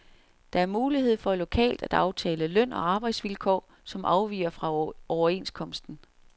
Der er mulighed for lokalt at aftale løn og arbejdsvilkår, som afviger fra overenskomsten.